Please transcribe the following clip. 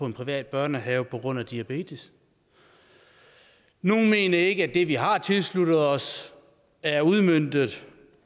en privat børnehave på grund af diabetes nogle mener ikke at det vi har tilsluttet os er udmøntet